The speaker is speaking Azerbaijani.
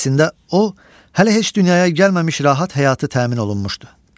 Əslində o hələ heç dünyaya gəlməmiş rahat həyatı təmin olunmuşdu.